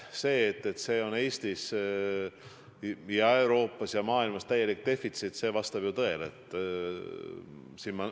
See, et see on Eestis ja mujal Euroopas ja maailmas täielik defitsiit, vastab ju tõele.